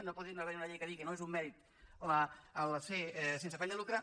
no pot haver hi una llei que digui que no és un mèrit ser sense afany de lucre